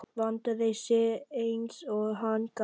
Vandaði sig eins og hann gat.